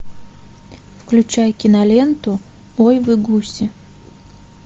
включай киноленту ой вы гуси